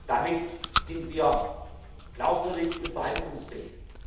Damit sind wir glaubwürdig und verhandlungsfähig.